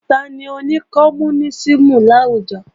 Tani oní kọmúnísìmù láwùjọ?